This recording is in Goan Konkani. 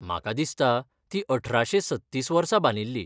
म्हाका दिसता, ती अठराशे सत्तीस वर्सा बांदिल्ली.